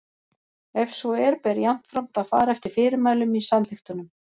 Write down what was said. Ef svo er ber jafnframt að fara eftir fyrirmælum í samþykktunum.